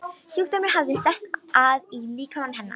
Sjúkdómur hafði sest að í líkama hennar.